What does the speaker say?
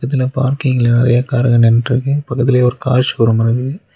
இதுல பார்க்கிங்ல நெறைய காருங்க நின்ட்ருக்கு பக்கத்திலயே ஒரு கார் ஷோரூம் இருக்கு.